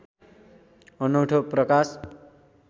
अनौठो प्रकाश